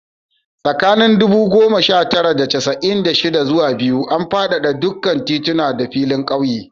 Tsakanin ɗubu goma sha tara da casa'in da shida zuwa biyu, an fadada dukkan tituna da filin ƙauye